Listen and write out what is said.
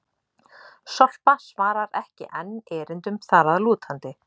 Sorpa svarar ekki enn erindum þar að lútandi!